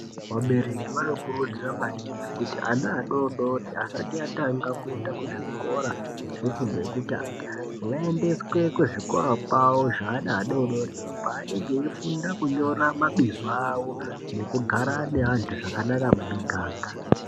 Vabereki vanokurudzira maningi kuti ana adodori asati atanga kuenda kuzvikora zvefundo yekutanga vaendeswe kuzvikora kwavo zveana vadodori kwanenge eifunda kunyora mabizo avo nekugara neantu zvakanaka mumiganga.